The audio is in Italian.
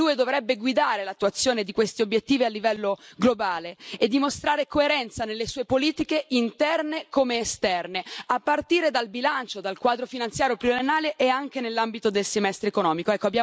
L'UE dovrebbe guidare l'attuazione di questi obiettivi a livello globale e dimostrare coerenza nelle sue politiche interne come esterne, a partire dal bilancio, dal quadro finanziario pluriennale e anche nell'ambito del semestre economico.